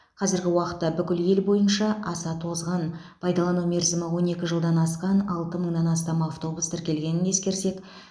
қазіргі уақытта бүкіл ел бойынша аса тозған пайдалану мерзімі он екі жылдан асқан алты мыңнан астам автобус тіркелгенін ескерсек